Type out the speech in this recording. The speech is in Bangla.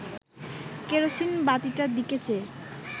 কেরোসিন বাতিটার দিকে চেয়ে